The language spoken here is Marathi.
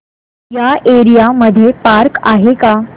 या एरिया मध्ये पार्क आहे का